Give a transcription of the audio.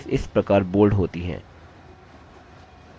headings इस प्रकार bold होती हैं